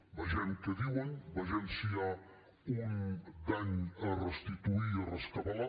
vegem què diuen vegem si hi ha un dany a restituir i a rescabalar